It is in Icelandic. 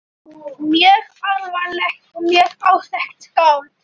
Mjög alvarlegt og mjög óþekkt skáld.